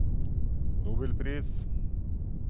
nobelpris